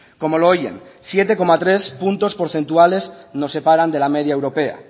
como lo oyen siete coma tres puntos porcentuales nos separan de la media europea